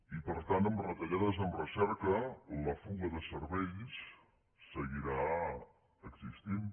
i per tant amb retallades en recerca la fuga de cervells seguirà existint